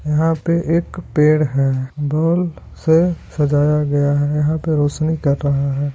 यहाँ पे एक पेड़ है बॉल से सजाया गया है यहाँ पे रोशनी कर रहा है।